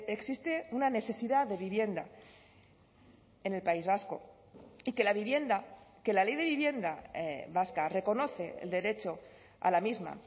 existe una necesidad de vivienda en el país vasco y que la vivienda que la ley de vivienda vasca reconoce el derecho a la misma